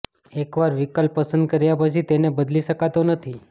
એક વાર વિકલ્પ પસંદ કર્યા પછી તેને બદલી શકાતો નથી